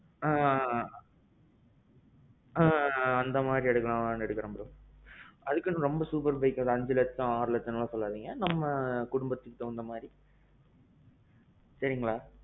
ஆ அந்த மாறித்தான் bro. அதுக்கு ரொம்ப super bike எல்லாம் இல்ல அஞ்சு லட்சம் ஆறு லட்சம் எல்லாம் சொல்லாதீங்க. நம்ம குடும்பத்துக்கு தகுந்த மாறி. சரிங்களா?